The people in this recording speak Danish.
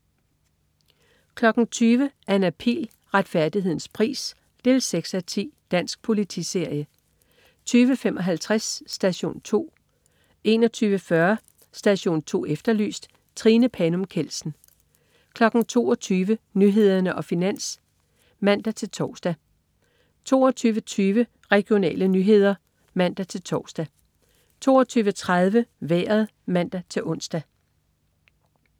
20.00 Anna Pihl. Retfærdighedens pris 6:10. Dansk politiserie 20.55 Station 2 21.40 Station 2 Efterlyst. Trine Panum Kjeldsen 22.00 Nyhederne og Finans* (man-tors) 22.20 Regionale nyheder* (man-tors) 22.30 Vejret (man-ons)